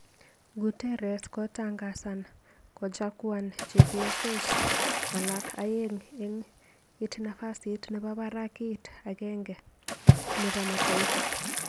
Guterres kotangasan kojakuan chepyosos alak aeng'et ik nafasit nebo barak ik akenge nebo Mataifa.